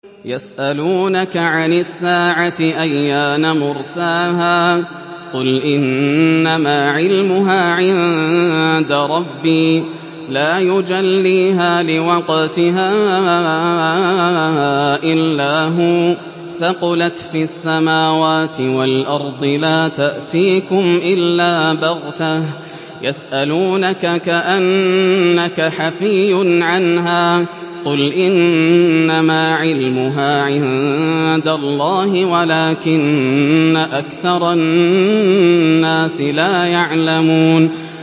يَسْأَلُونَكَ عَنِ السَّاعَةِ أَيَّانَ مُرْسَاهَا ۖ قُلْ إِنَّمَا عِلْمُهَا عِندَ رَبِّي ۖ لَا يُجَلِّيهَا لِوَقْتِهَا إِلَّا هُوَ ۚ ثَقُلَتْ فِي السَّمَاوَاتِ وَالْأَرْضِ ۚ لَا تَأْتِيكُمْ إِلَّا بَغْتَةً ۗ يَسْأَلُونَكَ كَأَنَّكَ حَفِيٌّ عَنْهَا ۖ قُلْ إِنَّمَا عِلْمُهَا عِندَ اللَّهِ وَلَٰكِنَّ أَكْثَرَ النَّاسِ لَا يَعْلَمُونَ